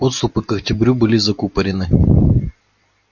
подступы к октябрю были закупорены